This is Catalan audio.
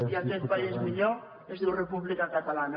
i aquest país millor es diu república catalana